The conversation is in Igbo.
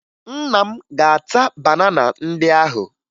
Nna m ga-ata banana ndị ahụ